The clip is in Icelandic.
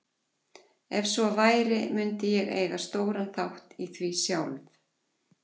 Ef svo væri mundi ég eiga stóran þátt í því sjálf.